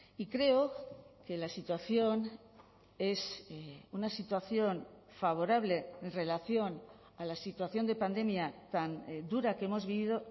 y creo que la situación es una situación favorable en relación a la situación de pandemia tan dura que hemos vivido